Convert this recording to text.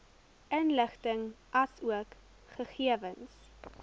inligting asook gegewens